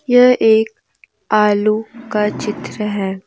यह एक आलू का चित्र है।